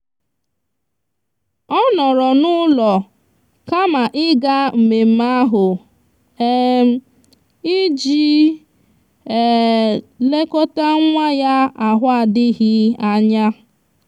ọ nọọrọ n'ụlọ kama ịga mmemme ahụ um iji um lekọta nwa ya ahụ adịghị anya.